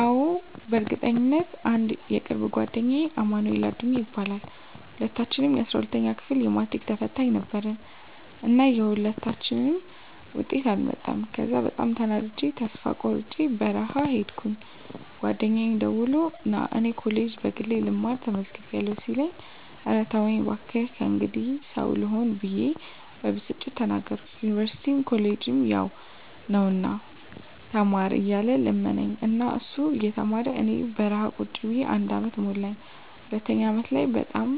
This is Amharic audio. አዎ፣ በእርግጠኝነት! *አንድ የቅርብ ጓደኛዬ አማንኤል አዱኛ ይባላል፦ *ሁለታችንም የ12ኛ ክፍል የማትሪክ ተፈታኝ ነበርን እና የሁለታችንም ውጤት አልመጣም ከዚያ በጣም ተናድጀ ተስፋ ቆርጨ በረሀ ሂድኩኝ ጓደኛየ ደውሎ ና እኔ ኮሌጅ በግሌ ልማር ተመዝግቢያለሁ ሲለኝ እረ ተወኝ ባክህ ከእንግዲህ ሰው ልሆን ብየ በብስጭት ተናገርኩት ዩኒቨርስቲም ኮሌጅም ያው ነው ና ተማር እያለ ለመነኝ እና እሱ እየተማረ እኔ በረሀ ቁጭ ብየ አንድ አመት ሞላኝ ሁለተኛው አመት ላይ በጣም